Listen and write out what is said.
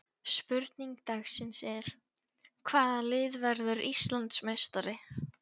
Spurning dagsins er: Hvaða lið verður Íslandsmeistari?